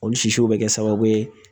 Olu sisiw bɛ kɛ sababu ye